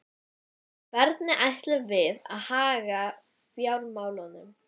Hvernig ætlum við að haga fjármálunum?